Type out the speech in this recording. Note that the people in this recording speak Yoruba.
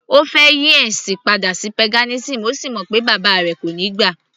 Ó fẹ́ yí ẹ̀sìn padà sí paganism,ó sì mọ̀ pé bàbá rẹ̀ kò níí gbà